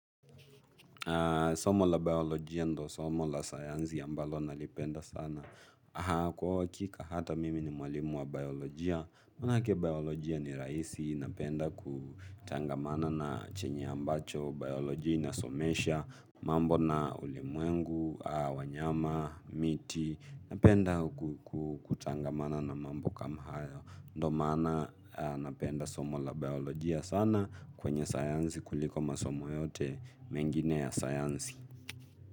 Somo la biolojia ndio somo la sayansi ambalo nalipenda sana. Kwa uhakika hata mimi ni mwalimu wa biolojia manake biolojia ni rahisi napenda kutangamana na chenye ambacho. Biolojia inasomesha. Mambo na ulimwengu, wanyama, miti. Napenda kutangamana na mambo kama hayo. Ndio maana napenda somo la biolojia sana kwenye sayansi kuliko masomo yote. Mengine ya sayansi.